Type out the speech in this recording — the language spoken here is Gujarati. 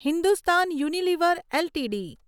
Hindustan Unilever LTD